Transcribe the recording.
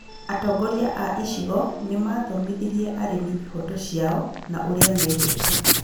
Atongoria a icigo nĩmathomithirie arĩmi ihoto ciao na ũrĩa megwĩka